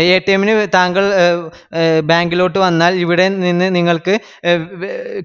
ആഹ് ന് താങ്കൾ bank ലോട്ട് വന്നാൽ ഇവിടെ നിന്ന് നിങ്ങള്ക്ക്